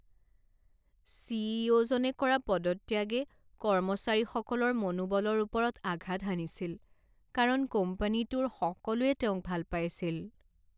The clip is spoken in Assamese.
চি ই অ' জনে কৰা পদত্যাগে কৰ্মচাৰীসকলৰ মনোবলৰ ওপৰত আঘাত হানিছিল কাৰণ কোম্পানীটোৰ সকলোৱে তেওঁক ভাল পাইছিল।